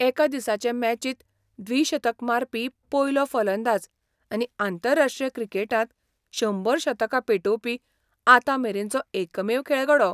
एका दिसाचे मॅचिंत द्विशतक मारपी पयलो फलंदाज आनी अंतरराष्ट्रीय क्रिकेटांत शंबर शतकां पेटोवपी आतांमेरेनचो एकमेव खेळगडो.